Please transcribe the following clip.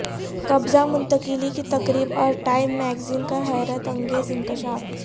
قبضہ منتقلی کی تقریب اور ٹائم میگزین کا حیرت انگیز انکشاف